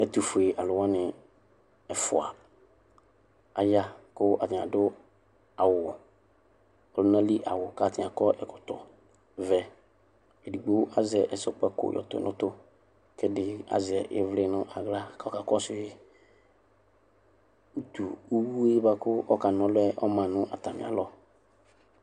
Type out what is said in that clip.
ɛtʋƒʋe alʋwani ɛƒʋa aya kʋ atani adʋ awʋ ɔlʋnali awʋ katani akɔ ɛkɔtɔ vɛ edigbo azɛ ɛzɔkpako kɔdʋ nʋtʋ kedibi azɛ ivli nʋ aɣla kʋ aka kɔsʋyi ʋtʋwʋe bʋakʋ aka na ɔlʋɛ ɔma nayɔalɔ